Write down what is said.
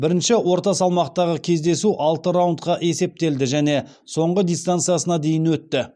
бірінші орта салмақтағы кездесу алты раундқа есептелді және соңғы дистанциясына дейін өтті